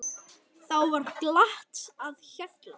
Þá var glatt á hjalla.